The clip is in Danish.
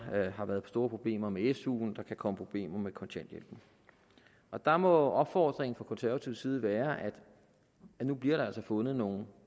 har været store problemer med su der kan komme problemer med kontanthjælpen og der må opfordringen fra konservativ side være at nu bliver der altså fundet nogle